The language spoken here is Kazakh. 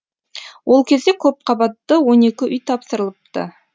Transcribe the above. ол кезде көпқабатты он екі үй тапсырылыпты